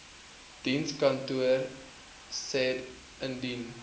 dienskantoor said indien